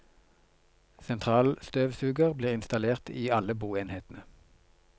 Sentralstøvsuger blir installert i alle boenhetene.